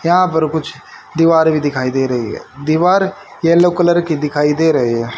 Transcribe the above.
यहां पर कुछ दीवार भी दिखाई दे रही है दीवार येलो कलर की दिखाई दे रहे हैं।